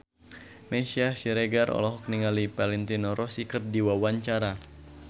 Meisya Siregar olohok ningali Valentino Rossi keur diwawancara